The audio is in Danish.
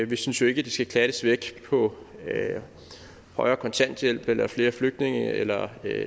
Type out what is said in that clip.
vi synes jo ikke at de skal klattes væk på højere kontanthjælp eller flere flygtninge eller